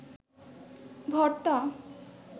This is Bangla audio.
ভর্তা